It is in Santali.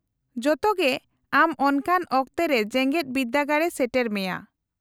-ᱡᱚᱛᱚ ᱜᱮ ᱟᱢ ᱚᱱᱠᱟᱱ ᱚᱠᱛᱮ ᱨᱮ ᱡᱮᱜᱮᱫ ᱵᱤᱨᱫᱟᱹᱜᱟᱲ ᱮ ᱥᱮᱴᱮᱨ ᱢᱮᱭᱟ ᱾